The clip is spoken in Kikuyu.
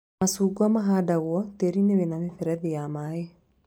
Macungwa mahandagwo tĩĩri-inĩ wĩna mĩberethi ya maĩ